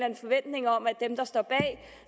en forventning om